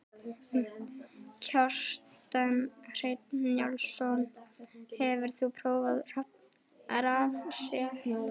Kjartan Hreinn Njálsson: Hefur þú prófað rafrettu?